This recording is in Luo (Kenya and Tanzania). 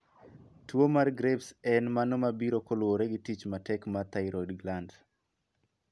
Tuo mar Graves' en mano mabiro kaluowore gi tich matek mar thyroid gland .